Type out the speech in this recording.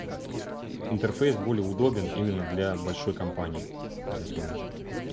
интерфейс более удобен именно для большой компании в бизнес менеджере